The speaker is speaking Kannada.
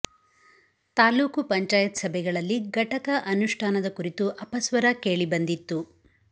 ತಾಲೂಕು ಪಂಚಾಯತ್ ಸಭೆಗಳಲ್ಲಿ ಘಟಕ ಅನುಷ್ಠಾನದ ಕುರಿತು ಅಪಸ್ವರ ಕೇಳಿ ಬಂದಿತ್ತು